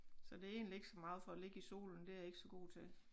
Så det egentlig ikke så meget for at ligge i solen det er jeg ikke så god til